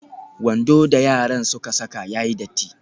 Wando da yaran suka saka ya yi datti.